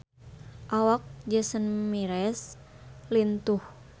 Awak Jason Mraz lintuh